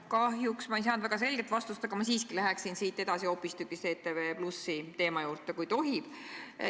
Kahjuks ei saanud ma väga selget vastust, aga ma siiski läheksin siit edasi hoopistükkis ETV+ teema juurde, kui tohib.